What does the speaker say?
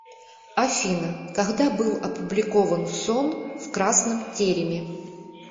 афина когда был опубликован сон в красном тереме